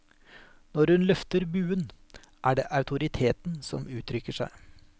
Når hun løfter buen, er det autoriteten som uttrykker seg.